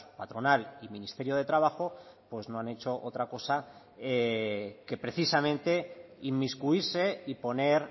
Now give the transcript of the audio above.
patronal y ministerio de trabajo pues no han hecho otra cosa que precisamente inmiscuirse y poner